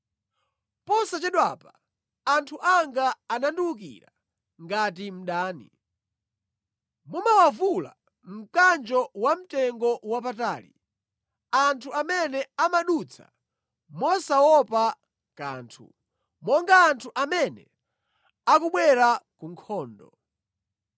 Posachedwapa anthu anga andiwukira ngati mdani. Mumawavula mkanjo wamtengowapatali anthu amene amadutsa mosaopa kanthu, monga anthu amene akubwera ku nkhondo.